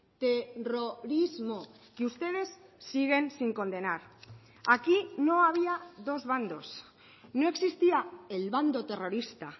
terrorismo que ustedes siguen sin condenar aquí no había dos bandos no existía el bando terrorista